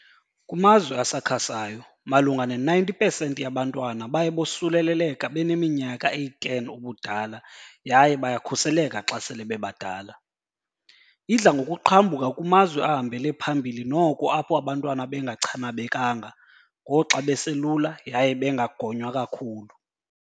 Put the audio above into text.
Kumazwe asakhasayo malunga ne-90 pesenti yabantwana baye bosuleleleka beneminyaka eyi-10 ubudala yaye bayakhuseleka xa sele bebadala. Idla ngokuqhambuka kumazwe ahambele phambili noko apho abantwana bengachanabekanga ngoxa beselula yaye bengagonywa kakhulu.